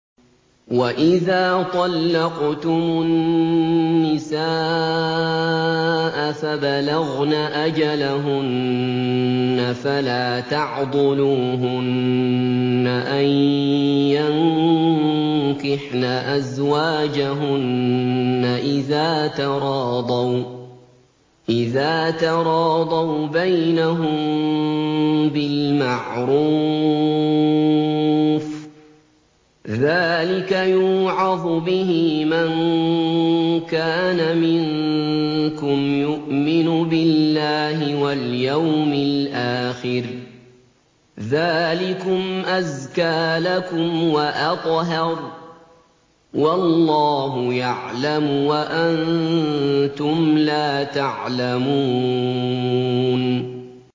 وَإِذَا طَلَّقْتُمُ النِّسَاءَ فَبَلَغْنَ أَجَلَهُنَّ فَلَا تَعْضُلُوهُنَّ أَن يَنكِحْنَ أَزْوَاجَهُنَّ إِذَا تَرَاضَوْا بَيْنَهُم بِالْمَعْرُوفِ ۗ ذَٰلِكَ يُوعَظُ بِهِ مَن كَانَ مِنكُمْ يُؤْمِنُ بِاللَّهِ وَالْيَوْمِ الْآخِرِ ۗ ذَٰلِكُمْ أَزْكَىٰ لَكُمْ وَأَطْهَرُ ۗ وَاللَّهُ يَعْلَمُ وَأَنتُمْ لَا تَعْلَمُونَ